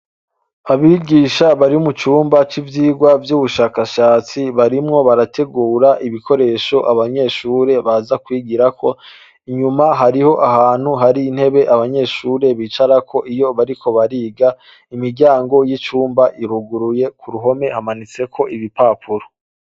Abigisha bari mucumba c'ivyigwa vy'ubushakashatsi, barimwo barategura ibikoresho abanyeshure baza kw'igirako, inyuma hariho ahantu hari intebe abanyeshure bicarako iyo bariko bariga, imiryango y'icumba iruguruye, ku ruhome hamanitseko ibipapuro.